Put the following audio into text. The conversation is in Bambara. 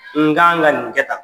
N k'an ka nin kɛ tan